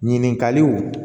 Ɲininkaliw